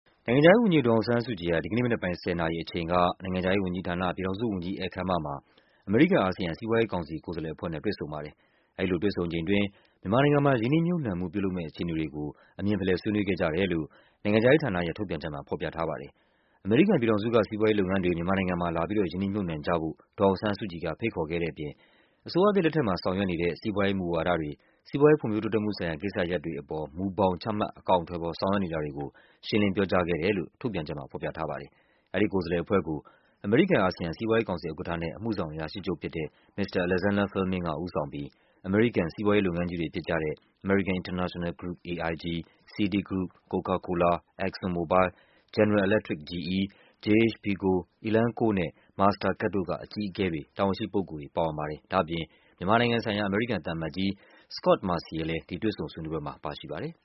နိုင်ငံခြားရေးဝန်ကြီး ဒေါ်အောင်ဆန်းစုကြည် က ဒီနေ့မနက်ပိုင်း ၁၀း၀၀နာရီ အချိန်က နိုင်ငံခြားရေးဝန်ကြီးဌာန ၊ ပြည်ထောင်စုဝန်ကြီး ဧည့်ခန်းမမှာ အမေရိကန်-အာဆီယံ စီးပွားရေးကောင်စီကိုယ်စားလှယ်အဖွဲ့နဲ့ တွေ့ဆုံ ပါတယ် ။အဲဒီလိုတွေ့ဆုံချိန်အတွင်း မြန်မာနိုင်ငံမှာ ရင်းနှီးမြုပ်နှံမှုများပြုလုပ်မည့် အခြေအနေတွေကို အမြင်ဖလှယ် ဆွေးနွေး ခဲ့ကြတယ်လို့ နိုင်ငံခြားရေးဝန်ကြီးဌာနရဲ့ထုတ်ပြန်ချက်မှာ ဖော်ပြထားပါတယ်။ အမေရိကန်ပြည်ထောင်စုက စီးပွားရေးလုပ်ငန်းတွေ မြန်မာနိုင်ငံမှာလာပြီး ရင်းနှီးမြုပ်နှံကြဖို့ ဒေါ်အောင်ဆန်းစုကြည် က ဖိတ်ခေါ်ခဲ့တဲ့အပြင် အစိုးရသစ်လက်ထက်တွင် ဆောင်ရွက်နေတဲ့ မူဝါဒတွေ၊ စီးပွားရေးဖွံ့ဖြိုးတိုးတက်မှုဆိုင်ရာ ကိစ္စရပ်တွေအပေါ် မူဘောင်ချမှတ် အကောင်အထည်ဖော်ဆောင်ရွက်နေတာတွေကို ရှင်းလင်းပြောကြားခဲ့တယ်လို့ ထုတ်ပြန်ချက်မှာ ဖော်ပြထားပါတယ်။ အဲဒီကိုယ်စားလှယ်အဖွဲ့ကို အမေရိကန်-အာဆီယံ စီးပွားရေးကောင်စီ ဥက္ကဋ္ဌနှင့် အမှုဆောင်အရာရှိချုပ်ဖြစ်တဲ့ မစ္စတာအလက်ဇန္ဒားဖဲလ်မင်းက ဦးဆောင်ပြီး အမေရိကန်စီးပွားရေးလုပ်ငန်းကြီးများဖြစ်သည့် American International Group( AIG) ၊ CITI Group၊ Coca-Cola၊ Exxon Mobile ၊ General Electronic (GE)၊ Jhpiego၊ Elanco နှင့် Master Card တို့က အကြီးအကဲတွေ တာဝန်ရှိပုဂ္ဂိုလ်တွေ ပါဝင်ပါတယ်။ ဒါ့အပြင် မြန်မာနိုင်ငံဆိုင်ရာအမေရိကန်သံအမတ်ကြီး Scot Marciel လည်းဒီတွေ့ဆုံဆွေးနွေးပွဲမှာ ပါရှိပါတယ်